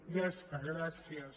ja està gràcies